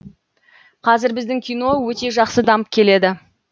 қазір біздің кино өте жақсы дамып келеді